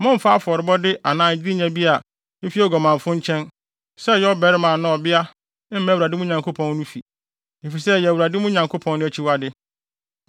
Mommfa afɔrebɔde anaa adenya bi a efi oguamanfo nkyɛn, sɛ ɔyɛ ɔbarima anaa ɔbea, mma Awurade, mo Nyankopɔn no, fi, efisɛ ɛyɛ Awurade, mo Nyankopɔn no, akyiwade.